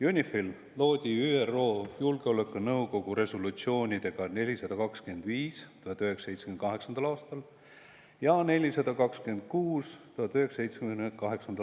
UNIFIL loodi ÜRO Julgeolekunõukogu resolutsioonidega 425 ja 426 aastal 1978.